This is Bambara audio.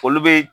Foli be